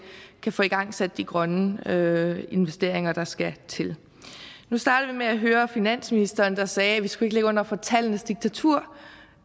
kan få igangsat de grønne investeringer der skal til nu startede vi med at høre finansministeren der sagde at vi ikke skulle ligge under for tallenes diktatur